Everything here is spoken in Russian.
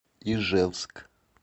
ижевск